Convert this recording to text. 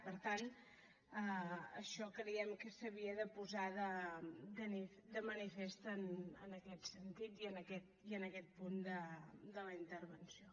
per tant això que diem que s’havia de posar de manifest en aquest sentit i en aquest punt de la intervenció